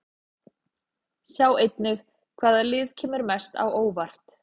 Sjá einnig: Hvaða lið kemur mest á óvart?